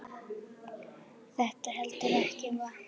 Þetta heldur ekki vatni.